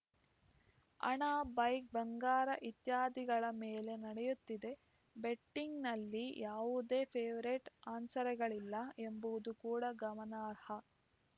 ಹಣ ಬೈಕ್‌ ಬಂಗಾರ ಇತ್ಯಾದಿಗಳ ಮೇಲೆ ನಡೆಯುತ್ತಿದೆ ಬೆಟ್ಟಿಂಗ್ ನಲ್ಲಿ ಯಾವುದೇ ಫೇವರೇಟ್‌ ಹಾರ್ಸ್‌ಗಳಿಲ್ಲ ಎಂಬುದು ಕೂಡ ಗಮನಾರ್ಹ